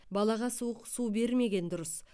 балаға суық су бермеген дұрыс